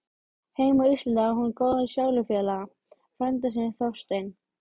Heima á Íslandi á hún góðan sálufélaga, frænda sinn Þorstein